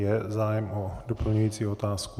Je zájem o doplňující otázku?